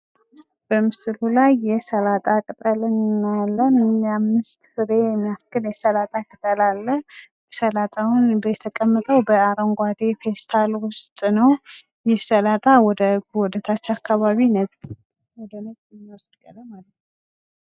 በምስሉ ላይ የሰላጣ ቅጠል እናያለን። ወደ አምስት ፍሬ የሚደርሱ ሲሆኑ በአረንጓዴ ፔስታል ውስጥ ናቸው ። ሰላጣው ወደታች አካባቢ ነጻ ያለ ቀለም አለው።